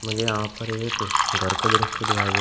यहां पर एक घर का दृश्य दिखाई दे रहा--